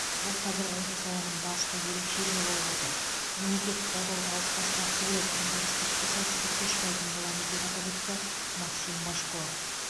бұл қазір осы саланың басты ерекшелігі болып отыр мемлекет қолдауды алып тастағысы келеді онда біз тіпті сәтсіздікке ұшырайтын боламыз деп атап өтті максим божко